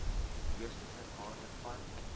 beeste ter waarde